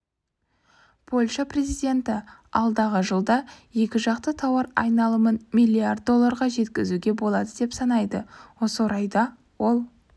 польша президенті алдағы жылда екіжақты тауар айналымын миллиард долларға жеткізуге болады деп санайды осы орайда ол